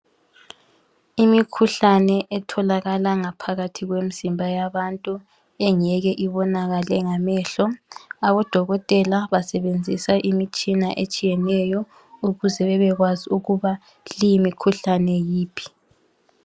Imikhuhlane etholakala ngaphakathi kwemizimba yabantu engeke ibonakale ngamehlo, abodokotela basebenzisa imitshina etshiyeneyo ukuze bebekwazi ukuba leyimikhuhlane yiphi.